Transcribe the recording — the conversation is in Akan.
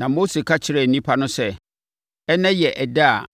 Na Mose ka kyerɛɛ nnipa no sɛ, “Ɛnnɛ yɛ ɛda a